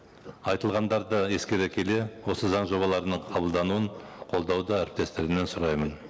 айтылғандарды ескере келе осы заң жобаларының қабылдануын қолдауды әріптестерімнен сұраймын